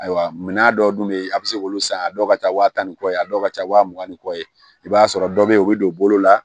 Ayiwa mina dɔw dun be yen a be se k'olu san yan a dɔw ka ca wa tan ni kɔ ye a dɔw ka ca wa mugan ni kɔ ye i b'a sɔrɔ dɔ be yen u bi don bolo la